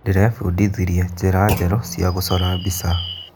Ndĩrebundithirie njĩra njerũ cia gũcora mbica.